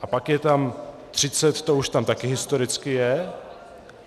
A pak je tam 30, to už tam taky historicky je.